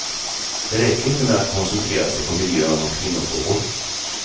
Det räcker inte med att koncentrera sig på miljön och kvinnofrågor.